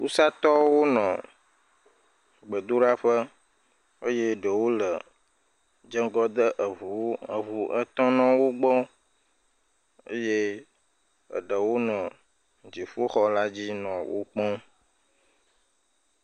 Wusatɔwo nɔ gbedoɖaƒe eye ɖewo le dzeŋgɔ de ŋuwo, eŋu etɔ nɔ wo gbɔ eye eɖewo nɔ dziƒoxɔ la dzi nɔ wo kpɔm.